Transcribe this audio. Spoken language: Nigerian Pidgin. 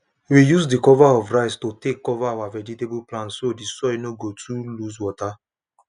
we use the cover of rice to take cover our vegetable plants so the soil no go too lose water